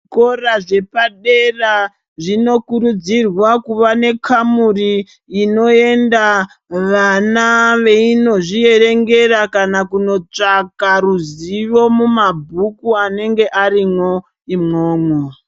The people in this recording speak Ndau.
Zvikora zvepadera zvinokurudzirwa kuva nekamuri inoenda vana veinozviveyengera kana kunotsvaka ruzivo mumabhuku anenge arimwo imwomwo.